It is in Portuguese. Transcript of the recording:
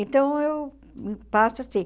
Então, eu passo assim.